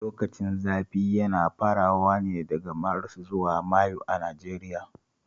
Lokacin zafi yana farawa ne daga Maris zuwa Mayu a Nigeria